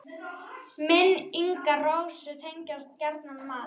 Minn- ingar Rósu tengjast gjarnan mat.